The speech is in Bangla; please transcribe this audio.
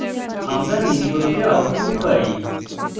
আমরা নিম্নরূপে output পাই: